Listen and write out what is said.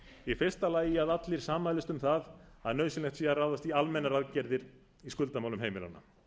í fyrsta lagi að allir sammælist um það að nauðsynlegt sé að ráðast í almennar aðgerðir í skuldamálum heimilanna